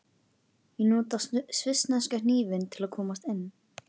Ég nota svissneska hnífinn til að komast inn.